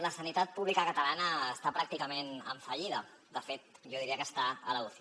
la sanitat pública catalana està pràcticament en fallida de fet jo diria que està a l’uci